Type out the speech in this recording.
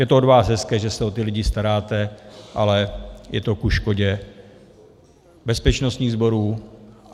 Je to od vás hezké, že se o ty lidi staráte, ale je to ke škodě bezpečnostních sborů.